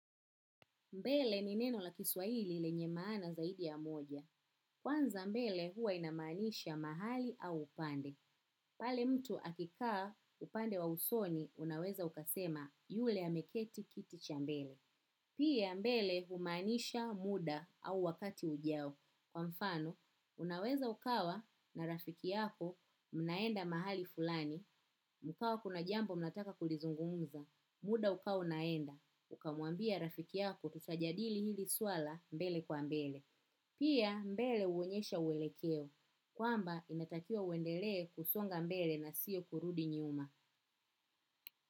Mbili ni neno la kiswahili lenye maana zaidi ya moja. Kwanza mbele huwa inamanisha mahali au upande. Pale mtu akikaa upande wa usoni unaweza ukasema yule ameketi kiti cha mbele. Pia mbele humaanisha muda au wakati ujao. Kwa mfano, unaweza ukawa na rafiki yako mnaenda mahali fulani. Kukawa kuna jambo mnataka kulizungumza. Muda ukawa unaenda. Ukamwambia rafiki yako tutajadili hili suala mbele kwa mbele. Pia mbele huonyesha uelekeo. Kwamba inatakiwa uendelee kusonga mbele na sio kurudi nyuma.